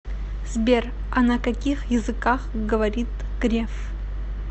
сбер а на каких языках говорит греф